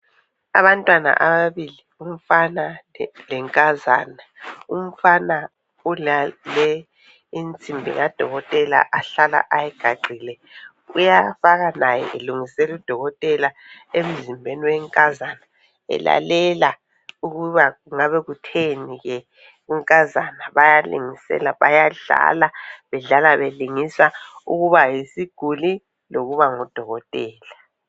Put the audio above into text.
Abantwana ababili umfana lenkazana, umfana ulale insimbi kaDokotela ahlala ayigaxile uyafaka laye elungisela udokotela emzimbeni wenkazana elalela ukuba kungabe kutheni ke unkazana bayalingisela bayadlala bedlala belingisa ukuba yisiguli lokuba nguDokotela.